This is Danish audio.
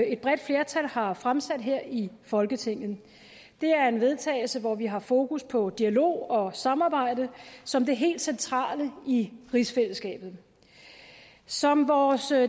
et bredt flertal har fremsat her i folketinget det er en vedtagelse hvor vi har fokus på dialog og samarbejde som det helt centrale i rigsfællesskabet som vores